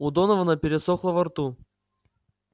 у донована пересохло во рту